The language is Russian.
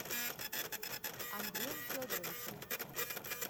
андреем федоровичем